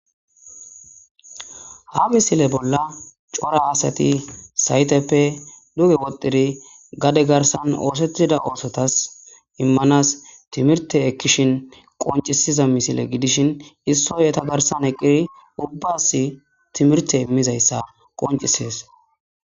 Ha misile bolla coora asati sayitepe duge wodhidi gade garisan osetida osotas imanas timirite ekishin qonicises misile gidishin issoy eta garisan eqidi ubasi timirite imizayisa qonicises